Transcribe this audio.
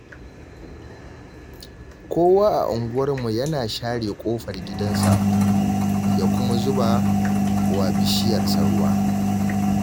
Kowa a unguwarmu yana share ƙofar gidansa ya kuma zuba wa bishiyarsa ruwa